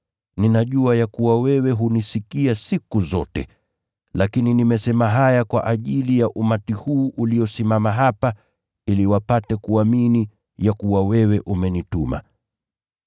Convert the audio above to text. Ninajua ya kuwa wewe hunisikia siku zote, lakini nimesema haya kwa ajili ya umati huu uliosimama hapa, ili wapate kuamini ya kuwa wewe umenituma.”